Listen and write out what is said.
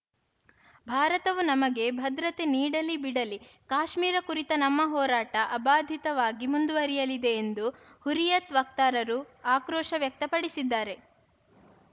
ಭಾರತವು ನಮಗೆ ಭದ್ರತೆ ನೀಡಲಿ ಬಿಡಲಿ ಕಾಶ್ಮೀರ ಕುರಿತ ನಮ್ಮ ಹೋರಾಟ ಅಬಾಧಿತವಾಗಿ ಮುಂದುವರಿಯಲಿದೆ ಎಂದು ಹುರಿಯತ್‌ ವಕ್ತಾರರು ಆಕ್ರೋಶ ವ್ಯಕ್ತಪಡಿಸಿದ್ದಾರೆ